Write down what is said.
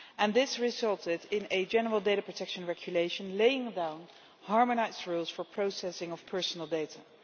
This resulted in a general data protection regulation laying down harmonised rules for processing of personal data.